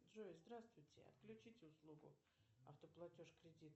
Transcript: джой здравствуйте отключите услугу автоплатеж кредита